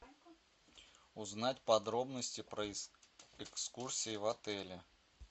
узнать подробности про экскурсии в отеле